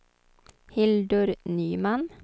Hildur Nyman